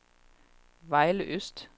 Vejle Øst